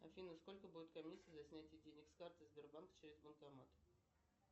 афина сколько будет комиссия за снятие денег с карты сбербанк через банкомат